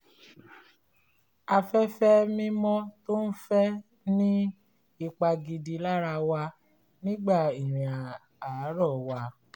afẹ́fẹ́ mímọ́ tó ń fẹ́ ní ipa gidi lára wa nígbà ìrìn àárọ́ wa